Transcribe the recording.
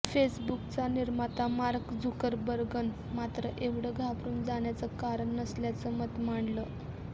फेसबुकचा निर्माता मार्क झुकरबर्गनं मात्र एवढं घाबरून जाण्याचं कारण नसल्याचं मत मांडलं